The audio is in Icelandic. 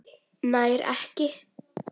Nær ekki.